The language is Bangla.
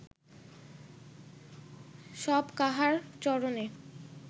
সব কাহার চরণে